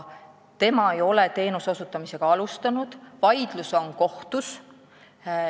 Tema ei ole teenuse osutamist alustanud ja vaidlus on kohtus.